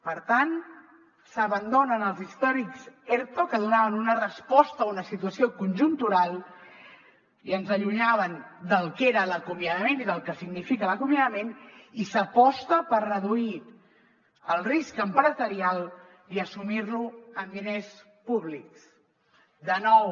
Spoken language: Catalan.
per tant s’abandonen els històrics erto que donaven una resposta a una situació conjuntural i ens allunyaven del que era l’acomiadament i del que significa l’acomiadament i s’aposta per reduir el risc empresarial i assumir lo amb diners públics de nou